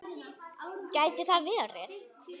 Gæti það verið?